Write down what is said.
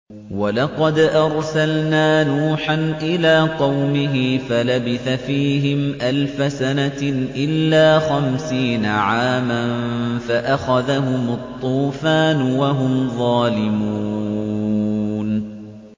وَلَقَدْ أَرْسَلْنَا نُوحًا إِلَىٰ قَوْمِهِ فَلَبِثَ فِيهِمْ أَلْفَ سَنَةٍ إِلَّا خَمْسِينَ عَامًا فَأَخَذَهُمُ الطُّوفَانُ وَهُمْ ظَالِمُونَ